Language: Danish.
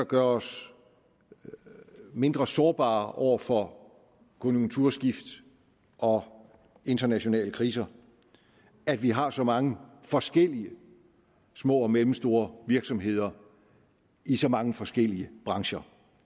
gør os mindre sårbare over for konjunkturskift og internationale kriser at vi har så mange forskellige små og mellemstore virksomheder i så mange forskellige brancher